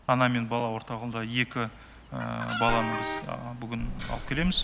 ана мен бала орталығында екі баланы біз бүгін алып келеміз